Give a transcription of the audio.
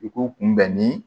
I k'u kunbɛn ni